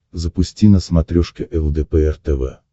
запусти на смотрешке лдпр тв